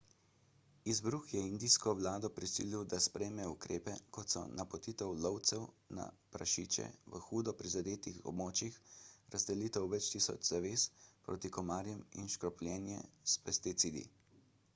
izbruh je indijsko vlado prisili da sprejme ukrepe kot so napotitev lovcev na prašiče v hudo prizadetih območjih razdelitev več tisoč zaves proti komarjem in škropljenje s pesticidi